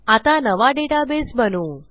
आता नवा डेटाबेस बनवू